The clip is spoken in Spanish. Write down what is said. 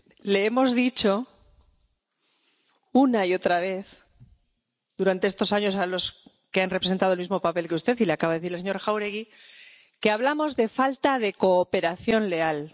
Les hemos dicho, una y otra vez durante estos años, a los que han representado el mismo papel que usted —y como le acaba de decir el señor Jáuregui— que hablamos de falta de cooperación leal.